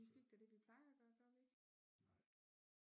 Vi fik da det vi plejer at gøre gjorde vi ikke